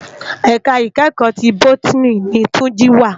Èká ikèékò ti bótìní ni Tunji wá